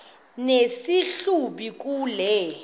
nesi hlubi kule